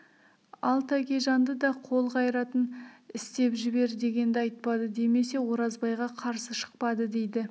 ал тәкежанды да қол қайратын істеп жібер дегенді айтпады демесе оразбайға қарсы шықпады дейді